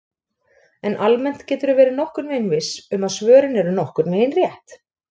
En almennt geturðu verið nokkurn veginn viss um að svörin eru nokkurn veginn rétt!